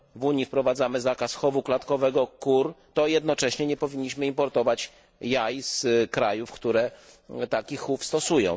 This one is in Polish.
w Unii wprowadzamy zakaz chowu klatkowego kur, to jednocześnie nie powinniśmy importować jaj z krajów, które taki chów stosują.